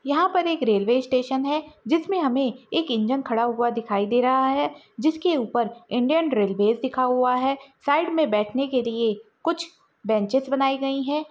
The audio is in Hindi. यहा पर एक रेल्वे स्टेशन है जिसमे हमे एक इंजन खड़ा हुआ दिखाई दे रहा है जिसके ऊपर इंडियन रेल्वेज लिखा हुआ है साइड मे बैठने के लिए कुछ बेंचेस बनाई गयी है।